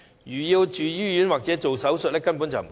如果要住院或做手術，根本不足夠。